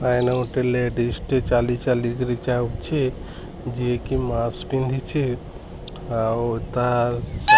ଗୋଟେ ଲେଡିଜ ଟେ ଚାଲି ଚାଲି କରି ଯାଉଛି। ଯିଏକି ମାସକ ଆଉ ତା --